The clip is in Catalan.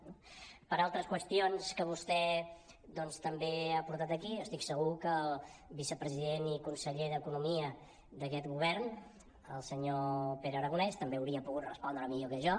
pel que fa a altres qüestions que vostè doncs també ha portat aquí jo estic segur que el vicepresident i conseller d’economia d’aquest govern el senyor pere aragonès també hauria pogut respondre millor que jo